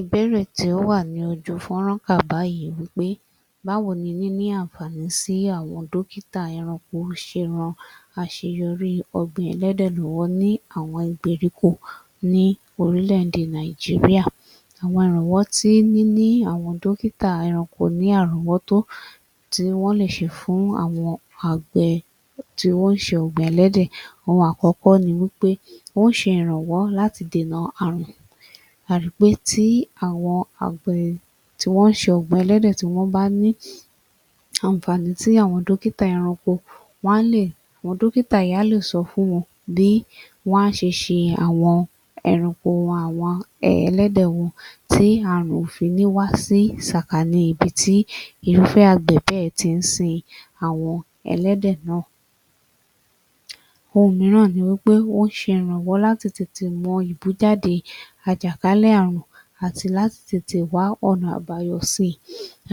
Ìbéèrè tí ó wà ní ojú fúnrán wà báyìí wípé, Báwo ní níní ànfàaní sí àwọn dókítà ẹranko ṣe ran àṣeyọrí ògbìn ẹlẹ́dẹ̀ lórí ní àwọn ìgbèríko ní orílẹ̀-èdè Nàìjíríà, àwọn àrànwọ́ tí àwọn dókítà ẹranko ní àránwọ́tó tí wọn lè ṣe fún àwọn àgbẹ̀ tí wọ́n ṣe ògbìn ẹlẹ́dẹ̀. Ohun àkọ́kọ́ ní wípé, wọ́n ṣe iranwọ láti dènà àrùn. A ri pé tí àwọn àgbẹ̀ tí wọ́n ṣe ògbìn ẹlẹ́dẹ̀, wọ́n bá ní. Ànfàaní tí àwọn dókítà ẹranko, wọn a lè wọn dókítà yẹ a le sọ fún bí wọ́n a ṣe ṣe awọn ẹranko wọnwọn ẹlẹ́dẹ̀ wọn tí àrùn o ní fi wá sí sàkánì ní ibi tí irúfẹ́ àgbẹ̀ bẹ́ẹ̀ ti ń sìn awọn ẹlẹ́dẹ̀ náà. Ohun míràn ní wípé wọ́n ṣe ìrànwọ́ tètè mọ ìbújáde àjàkálẹ̀ àrùn àti láti tètè wá ọ̀nà àbáyọ síi.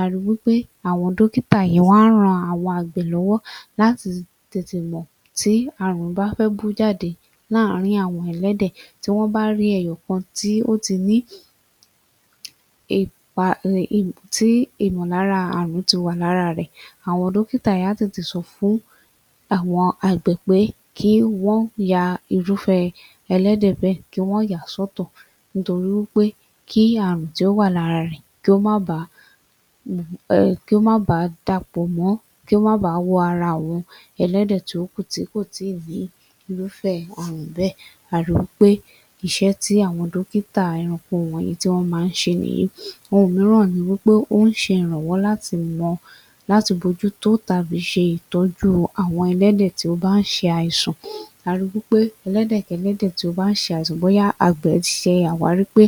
A ri wípé àwon dọ́kítà wọ́n a rán àwọn àgbẹ̀ lọ́wọ́ láti tètè mọ̀ tí àrùn bá fẹ́ bú jáde láàrin àwọn ẹlẹ́dẹ̀ tí wọ́n bá rí ẹ̀yọ̀kan tí ó ti ní ì pà rè ìpó tí ìmọ̀lára àrùn ti wà lára rẹ̀, àwọn dọ́kítà yẹn a tètè sọ fún àgbẹ̀ pé kí wọ́n ya irúfẹ́ ẹlẹ́dẹ̀ bẹ̀, kí wọ́n ya sọ́tọ̀, nítorí wípé kí àrùn tí ó wà lára rẹ̀ kí ó má bàa Um kí ó má bà dàpọ̀ mọ́, kí ó má bà wọ ara àwọn ẹlẹ́dẹ̀ tí ó kù tí kò tíi ní irúfẹ́ àrùn bẹ́ẹ̀. A ri wípé iṣẹ́ tí àwọn dọ́kítà ẹranko wọ̀nyí tí wọn má ń ṣe ní, ohun míràn ní wípé ó ń ṣe ìrànwọ́ láti mọ, láti bójútó ìtọjú àwọn ẹlẹ́dẹ̀ tí ó bá ń ṣe àìsàn. A ri wípé ẹlẹ́dẹ̀ kẹlẹ́dẹ̀ tíó bá ń ṣe àìsàn, bóyá àbẹ̀se wà rí pe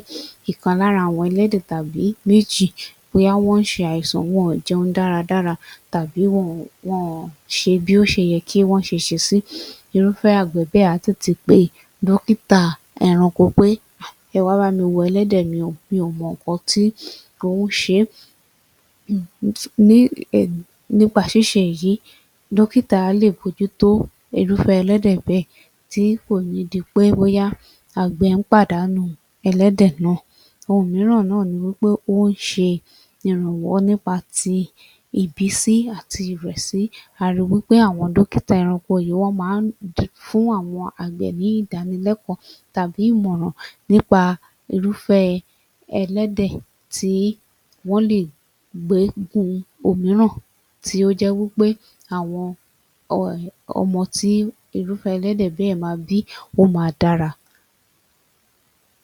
ìpalára àwọn ẹlẹ́dẹ̀ tàbíi méjì, bóyá wọ́n ń ṣe àìsàn, wọ̀n jẹun dáradára tàbí wọ̀n wọ̀n ṣe bí ó ó ṣé yẹ kí wọ́n ṣe ṣe sí, irúfẹ́ àgbẹ̀ bẹ́ẹ̀ àtì ti pé, dọ́kítà ẹranko pé um, ẹ wá bá mi wo ẹlẹ́dẹ̀ mí ọ, mí ò mọ ǹnkan tí ó ń ṣe. Nípa ṣíṣe èyí, dọ́kítá á lè mú irúfẹ́ ẹlẹ́dẹ̀ bẹ́ẹ̀, tí kò ní dipé bóyá àgbẹ̀ ń pàdánù ẹlẹ́dẹ̀ náà. Ohun míràn náà ní wípé en ń ṣe ìrànwọ́ nípa tí ìbísí àti ìrẹ̀sí àwọn dọ́kítà ẹranko, wọ́n ma ń fún àwọn àgbẹ̀ ní ìdánilékòó tàbí ìmọràn nípa irúfẹ́ ẹlẹ́dẹ̀ tí wọ́n lè gbé gun òmíràn tí ó je wípé àwon um ọmọ tí irúfẹ́ ẹlẹ́dẹ̀ bẹ́ẹ̀ ma bí, ó ma dára.